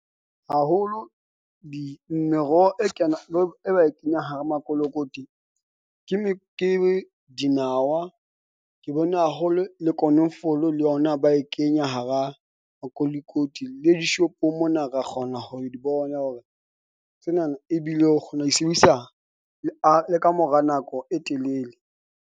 Haholo di meroho e kenang le e ba e kenyang hara makolokoti ke , ke dinawa ke bone haholo, le konofolo le yona ba e kenya hara makolokoti le di-shop-ong mona, ra kgona ho di bona hore tsena na ebile o kgona ho di sebedisa le a le ka mora nako e telele.